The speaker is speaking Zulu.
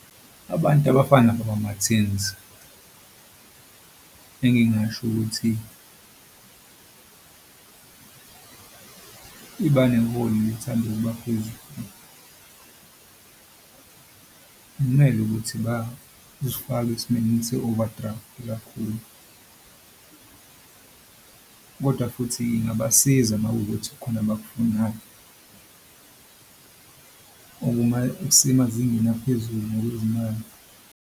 Abantu abafana nabakwaMartins engingasho ukuthi , ithanda ukuba phezulu. Akumele ukuthi bazifake esimeni se-overdraft kakhulu kodwa futhi ingabasiza makuwukuthi khona abakufunayo okusemazingeni aphezulu ngokwezimali.